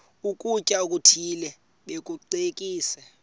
ukutya okuthile bakucekise